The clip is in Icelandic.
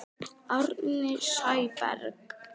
Árni Sæberg